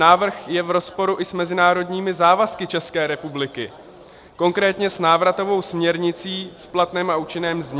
Návrh je v rozporu i s mezinárodními závazky České republiky, konkrétně s návratovou směrnicí v platném a účinném znění.